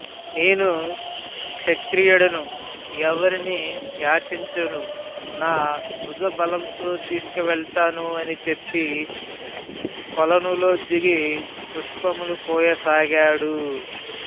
నేను క్షత్రియుడను ఎవ్వరినీ యాచించను నా భుజ బలంతో తీసుకువెళతాను అని చెప్పి కొలనులో దిగి పుష్పములు కోయసాగాడు